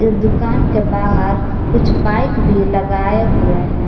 दुकान के बाहर कुछ बाइक भी लगाए हुए हैं।